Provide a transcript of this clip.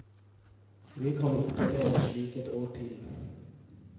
Vi kan ikke leve slik ett år til.